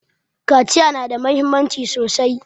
Kaciya na da muhimmanci sosai